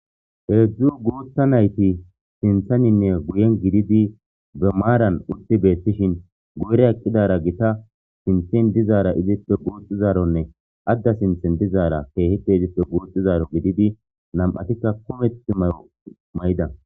Heedzu guutha nayti sintheninne guyen gididi be maaran eqqidi beetosona. Guyen dizara gita. Izippe sinthen dizaara guuxizaaro. Adda sinthen dizara keehippe guuxizaro gidishin nam'atika kumetha mayo mayida.